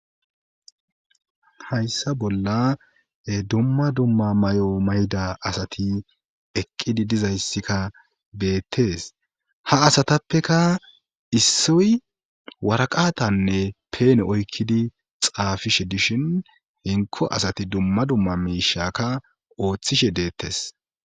Hayssa bolla dumma dumma may7o mayda asati eqqidi dizayssikka beettees ha asatappeka issoy waraqatanne peene oykkidi xaafishe dishin hinko asati dumma dumma miishakka ooththishe deettes